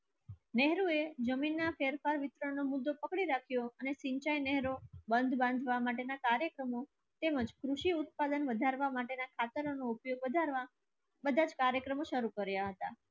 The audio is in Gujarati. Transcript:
નહેરુ એ જમીનના ફેરફાર વિતરણનો મુદ્દો પકડી રાખ્યો બંધ બાંધવા માટેના કાર્યક્રમો તેમજ કૃષિ ઉત્પાદન વધારવા માટેના ખાતરનો ઉપયોગ વધારવા બધા જ કાર્યક્રમો શરૂ કર્યા હતા.